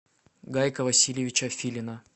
гайка васильевича филина